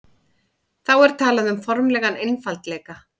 þá er talað um formlegan einfaldleika